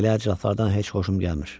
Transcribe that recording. Belə adamlardan heç xoşum gəlmir.